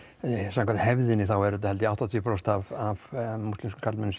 samkvæmt hefðinni þá er þetta held ég áttatíu prósent af múslimskum karlmönnum